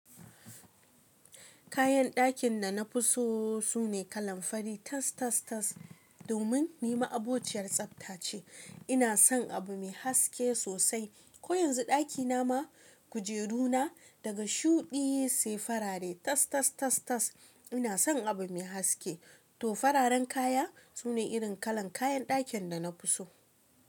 Kayan dakin da na fi so su ne kalan fari tas, tas, tas. Domin ni ma'abociyar tsafta ce. Ina son abu mai haske sosai. Ko yanzu ɗakina ma kujeru na daga shuɗi sai fara re tas, tas, tas, tas. Ina son abu mai haske. To fararen kaya su ne irin kalan kayan dakin da na fi so.